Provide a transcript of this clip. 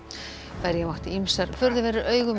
berja mátti ýmsar furðuverur augum í